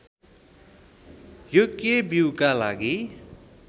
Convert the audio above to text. योग्य बीऊका लागि